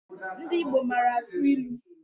Ndị Igbo mara atụ ilu